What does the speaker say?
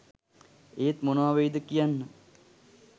ඒත් මොනවා වෙයිද කියන්න